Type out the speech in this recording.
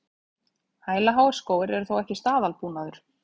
Hælaháir skór eru þó ekki staðalbúnaður